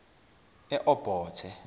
eobothe